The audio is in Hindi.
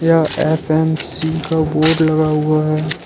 यहां एफ_एम_सी का बोर्ड लगा हुआ है।